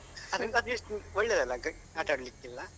ಅದ್ರಿಂದ ಅದ್ ಎಷ್ಟು ಒಳ್ಳೇದಲ್ಲ ಆಟ ಆಡ್ಲಿಕೆಲ್ಲ.